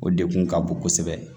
O dekun ka bon kosɛbɛ